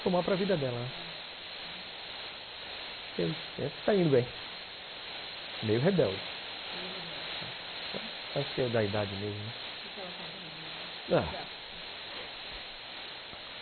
Somar para vida dela acho que é isso, acho que está indo bem meio rebelde acho que é da idade mesmo, né? O que que ela faz de rebelde? ah,